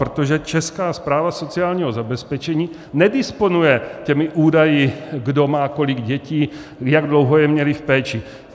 Protože Česká správa sociálního zabezpečení nedisponuje těmi údaji, kdo má kolik dětí, jak dlouho je měli v péči.